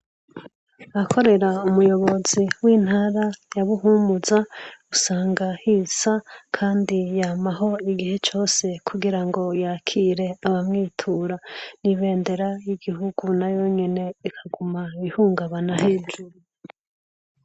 Ahakorera umuyobozi w'intara yabuhumuza usanga hisa, kandi yamaho igihe cyose kugira ngo yakire abamwitura n'ibendera y'igihugu na yonyine ikaguma bihungabana hejuru.